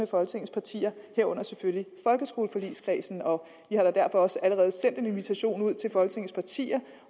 folketingets partier herunder selvfølgelig folkeskoleforligskredsen om vi har da derfor også allerede sendt en invitation ud til folketingets partier